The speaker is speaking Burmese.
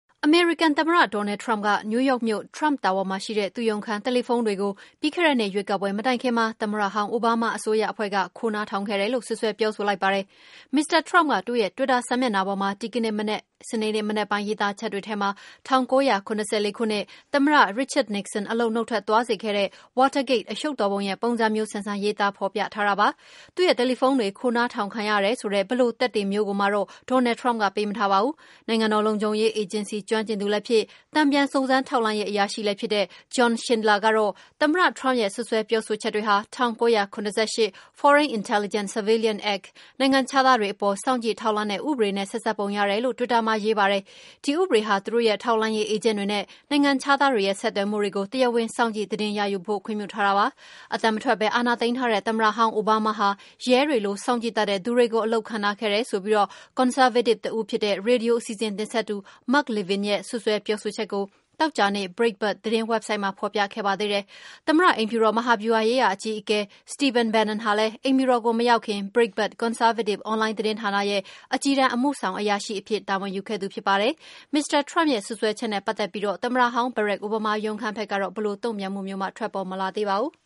အမေရိကန်သမ္မတ Donald Trump က New York မြို့ Trump Tower မှာရှိတဲ့ သူ့ရုံးခန်း တယ်လီဖုန်းတွေကို ပြီးခဲ့တဲ့နှစ် ရွေးကောက်ပွဲမတိုင်ခင်မှာ သမ္မတဟောင်း အိုဘားမားရဲ့ အစိုးရအဖွဲ့က ခိုးနားထောင်ခဲ့တယ်လို့ စွပ်စွဲပြောဆို လိုက်ပါတယ်။ Mr Trump က သူ့ရဲ့ တွစ်တာ စာမျက်နှာပေါ်မှာ ဒီကနေ့ စနေနေ့မနက်ပိုင်း ရေးသားချက်တွေထဲမှာ ၁၉၇၄ ခုနှစ်၊ သမ္မတ Richard Nixon အလုပ်က နှုတ်ထွက် သွားစေခဲ့တဲ့ Watergate အရှုပ်တော် ပုံရဲ့ ပုံစံမျိုးဆန်ဆန် ရေးသားဖော်ပြထားတာပါ။ သူ့ရဲ့တယ်လီဖုန်းတွေ ခိုးနားထောင်ခံရတယ်ဆိုတဲ့ ဘယ်လို သက်သေမျိုးကိုမှတော့ Donald Trump ကပေး မထားပါဘူး။ နိုင်ငံတော်လုံခြုံရေး အေဂျင်စီ ကျွမ်းကျင်သူ လည်းဖြစ်၊ တန်ပြန် စုံစမ်းထောက်လှမ်းရေး အရာရှိလည်းဖြစ်တဲ့ John Schindler ကတော့ သမ္မတ Trump ရဲ့ စွပ်စွဲပြော ဆိုချက်တွေဟာ ၁၉၇၈ Foreign Intelligence Surveillance Act နိုင်ငံခြားသားတွေ အပေါ် စောင့်ကြည့် ထောက်လှမ်းတဲ့ ဥပဒေနဲ့ ဆက်စပ်ပုံ ရတယ်လို့ဆို တွစ်တာ မှာရေးပါတယ်။ ဒီဥပဒေဟာ သူတို့ရဲ့ ထောက် လှမ်းရေးအေးဂျင့်တွေနဲ့ နိုင်ငံခြားသားတွေရဲ့ ဆက်သွယ်မှုတွေကို တရားဝင် စောင့်ကြည့် သတင်း ရယူဖို့ ခွင့်ပြုထားတာ ဖြစ်ပါတယ်။ အသံမထွက်ပဲ အာဏာသိမ်းထားတဲ့ သမ္မတဟောင်း အိုဘားမားဟာ ရဲတွေလို စောင့် ကြည့်တတ်တဲ့ သူတွေကို အလုပ်ခန့် ထားခဲ့တယ်ဆိုပြီး ကွန်ဆာဗေးတစ် တဦးဖြစ်တဲ့. ရေဒီယို အစီအစဉ် တင်ဆက်သူ Mark Levin ရဲ့ စွပ်စွဲပြောဆို ချက်ကို သောကြာနေ့ Brietbart သတင်း ဝက်ဆိုဒ်မှာ ဖော်ပြခဲ့ပါသေးတယ်။ သမ္မတ အိမ်ဖြူတော် မဟာ ဗျူဟာရေးရာ အကြီးအကဲ Stephen Bannon ဟာလည်း အိမ်ဖြူတော်ကို မရောက်ခင် Breitbart ကွန်ဆားဗေးတစ် အွန်လိုင်း သတင်းဌာနရဲ့ အကြီးတန်း အမှုဆောင် အရာရှိအဖြစ် တာဝန်ယူခဲ့တာဖြစ်ပါတယ်။ Mr Trump ရဲ့ စွပ်စွဲချက်နဲ့ ပတ်သက်ပြီး သမ္မတဟောင်း Barak Obama ရုံး ဘက်ကတော့ ဘယ်လို တုန့်ပြန်မှုမျိုးမှ ထွက်ပေါ် မလာသေးပါဘူး။